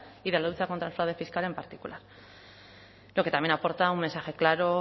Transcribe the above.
y de la lucha contra el fraude fiscal en particular lo que también aporta un mensaje claro